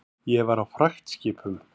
Ég var á fragtskipum.